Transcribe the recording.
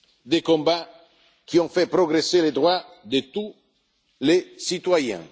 des combats qui ont fait progresser les droits de tous les citoyens.